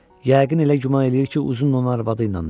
Yəqin elə güman eləyir ki, Uzun onun arvadıyladır.